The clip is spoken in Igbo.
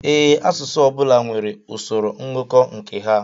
Ee, asụsụ ọbula nwèrè usoro ngụkọ nke ha.